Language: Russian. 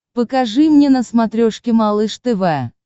покажи мне на смотрешке малыш тв